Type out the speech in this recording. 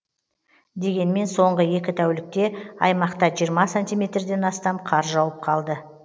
дегенмен соңғы екі тәулікте аймақта жиырма сантиметрден астам қар жауып қалды